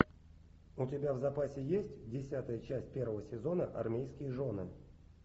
у тебя в запасе есть десятая часть первого сезона армейские жены